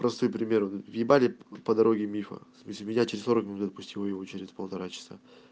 простой пример въебали по дороги мифа в смысле меня через сорок минут отпустило его через полтора часа